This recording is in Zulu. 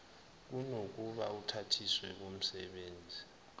kunokuba uthathiswe okomsebenzi